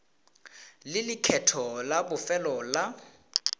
le lekgetho la bofelo la